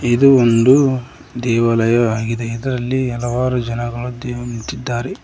ಇದು ಒಂದು ದೇವಾಲಯ ಆಗಿದೆ ಇದರಲ್ಲಿ ಹಲವಾರು ಜನಗಳು ಕ್ಯೂ ನಿಂತಿದ್ದಾರೆ.